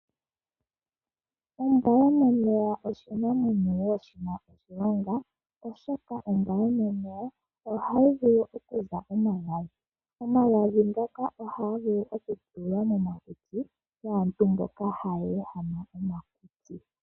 Ombwa yomomeya oshinamwenyo wo shina oshilonga, oshoka ombwa yomomeya ohayi vulu okuza omagadhi. Omagadhi ngoka ohaga vulu okutulwa momakutsi gaantu mboka hayeehama omakutsi.